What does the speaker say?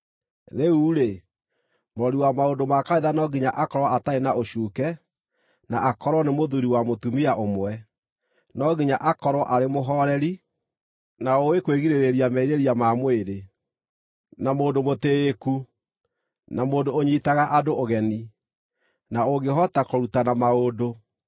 Rĩu-rĩ, mũrori wa maũndũ ma kanitha no nginya akorwo atarĩ na ũcuuke, na akorwo nĩ mũthuuri wa mũtumia ũmwe. No nginya akorwo arĩ mũhooreri, na ũũĩ kwĩgirĩrĩria merirĩria ma mwĩrĩ, na mũndũ mũtĩĩku, na mũndũ ũnyiitaga andũ ũgeni, na ũngĩhota kũrutana maũndũ.